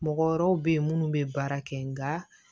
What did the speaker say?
Mɔgɔ wɛrɛw be yen munnu be baara kɛ nga